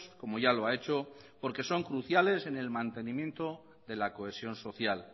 como ya lo ha hecho porque son cruciales en el mantenimiento de la cohesión social